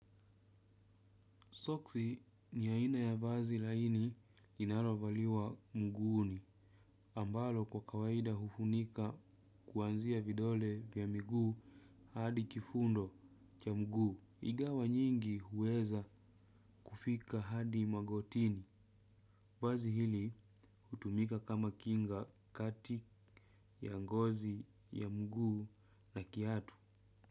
Soksi ni aina ya vazi laini linarovaliwa mguuni ambalo kwa kawaida hufunika kuanzia vidole vya mguu hadi kifundo cha mguu. Igawa nyingi huweza kufika hadi magotini. Vazi hili hutumika kama kinga kati ya ngozi ya mguu na kiatu.